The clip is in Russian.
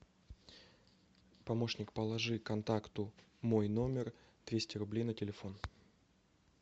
помощник положи контакту мой номер двести рублей на телефон